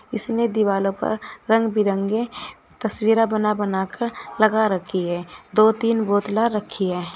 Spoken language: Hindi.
इसमें दीवालों पर रंग बिरंगे तस्वीरा बना बनाकर लगा रखी है दो तीन बोतला रखी है।